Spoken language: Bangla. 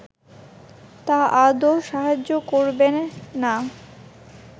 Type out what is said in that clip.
তা আদৌ সাহায্য করবে না